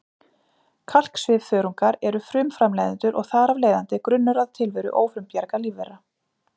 Kalksvifþörungar eru frumframleiðendur og þar af leiðandi grunnur að tilveru ófrumbjarga lífvera.